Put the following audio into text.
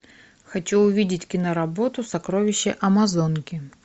хочу увидеть киноработу сокровища амазонки